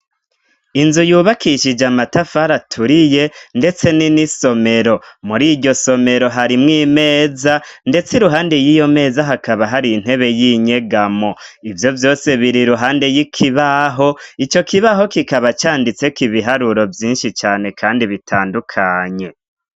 Inzu yubakishije amatafari aturiye ndetse ni n'isomero. Muri iryo somero harimwo imeza ndetse iruhande y'iyo meza hakaba hari intebe y'inyegamo ivyo vyose biri ruhande y'ikibaho. Ico kibaho kikaba canditse ko ibiharuro vyinshi cane kandi bitadukanye.